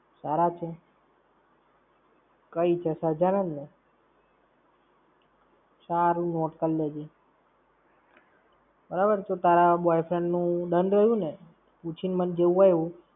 સારા છે? કઈ છે સહજાનંદ ને. કાંઈ નઈ note કરલેજે. બરાબર, તારા boyfriend નું done રહીયુ ને? પૂછી ને મને જેવું હોય એવું